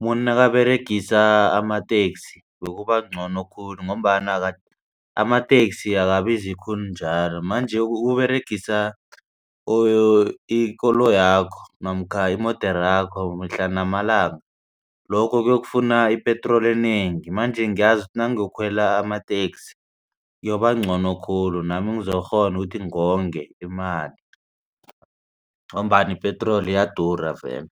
umuntu nakaberegisa amateksi bekubangcono khulu ngombana amateksi akabizi khulu njalo. Manje ukuberegisa ikoloyakho namkha imoderakho mihla namalanga lokho ukuyokufuna ipetroli enengi. Manje ngiyazi nangiyokukhwela amateksi kuyobangcono khulu nami ngizokukghona ukuthi ngonge imali ngombana ipetroli iyadura vele.